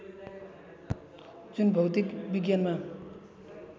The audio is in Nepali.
जुन भौतिक विज्ञानमा